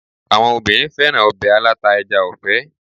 Àwọn obìnrin féràn ọbẹ̀ aláta ẹja ọ̀fẹ́.